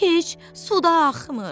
Heç su da axmır.